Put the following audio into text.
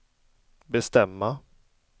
bestämma